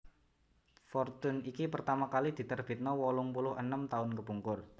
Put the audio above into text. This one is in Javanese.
Fortune iki pertama kali diterbitno wolung puluh enem taun kepungkur